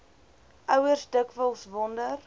ouers dikwels wonder